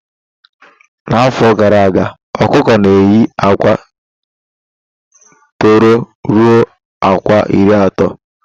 Na afọ gara aga okuko na eye akwa tọrọ ruo akwa iri ato